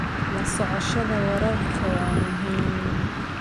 La socoshada wararka waa muhiim.